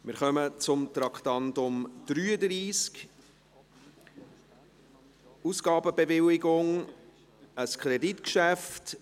Wir kommen zu Traktandum 33, Ausgabenbewilligung, ein Kreditgeschäft.